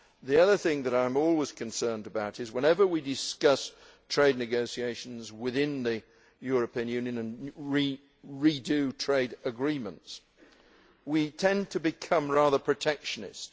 The other thing that I am always concerned about is that, whenever we discuss trade negotiations within the European Union and redo trade agreements, we tend to become rather protectionist.